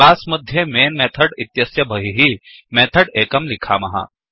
class मध्ये main method इत्यस्य बहिः मेथड् एकं लिखामः